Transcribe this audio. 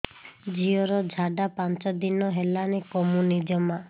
ଝିଅର ଝାଡା ପାଞ୍ଚ ଦିନ ହେଲାଣି କମୁନି ଜମା